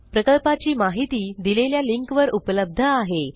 प्रकल्पाची माहिती दिलेल्या लिंकवर उपलब्ध आहे